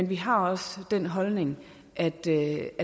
vi har også den holdning at det